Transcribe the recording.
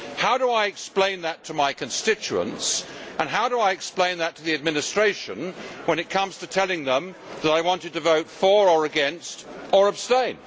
How do I explain that to my constituents and how do I explain that to the administration when it comes to telling them that I wanted to vote for or against or abstain?